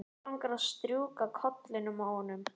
Mig langar að strjúka kollinum á honum.